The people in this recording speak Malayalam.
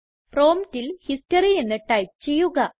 പ്രോംപ്റ്റിൽ ഹിസ്റ്ററി എന്ന് ടൈപ്പ് ചെയ്യുക